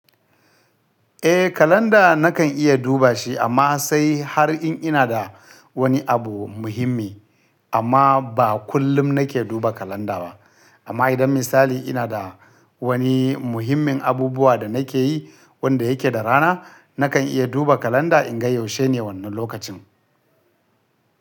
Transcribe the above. Eh kalanda na kan iya duba shi amma sai har in ina da wani abu muhimmi amma ba kullum na ke duba kalanda ba. Amma idan misali ina da wani muhimmin abubuwa da na ke yi wanda ya ke da rana, na kan iya duba kalanda in ga yaushe ne wannan lokacin.